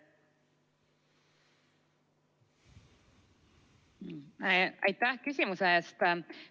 Aitäh küsimuse eest!